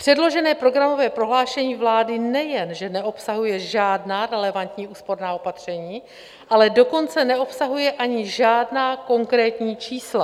Předložené programové prohlášení vlády nejen že neobsahuje žádná relevantní úsporná opatření, ale dokonce neobsahuje ani žádná konkrétní čísla.